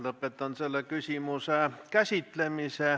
Lõpetan selle küsimuse käsitlemise.